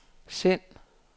send